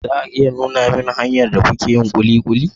za a iya nuna min hanyar da kuke yin kulikuli?